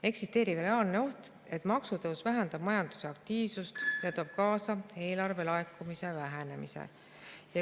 Eksisteerib reaalne oht, et maksutõus vähendab majandusaktiivsust ja toob kaasa eelarvelaekumise vähenemise.